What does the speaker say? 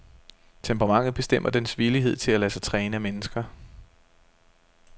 Temperamentet bestemmer dens villighed til at lade sig træne af mennesker.